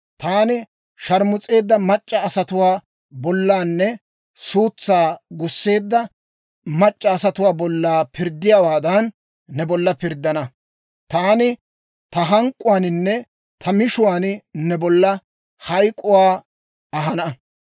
Taani sharmus'eedda mac'c'a asatuwaa bollanne suutsaa gusseedda mac'c'a asatuwaa bolla pirddiyaawaadan, ne bolla pirddana; taani ta hank'k'uwaaninne ta mishuwaan ne bolla hayk'k'uwaa ahana.